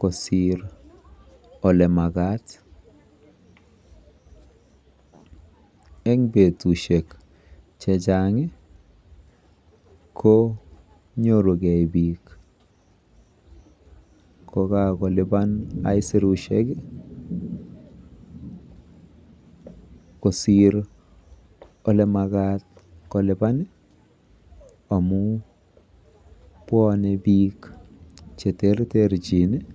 kosiir ole makat. Eng betusiek chechang konyoru biik kokakolipan aisirusiek kosiir ole makaat amu bwonwe biik cheterterchin.